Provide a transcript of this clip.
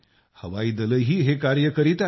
हवाईदलही हे कार्य करीत आहे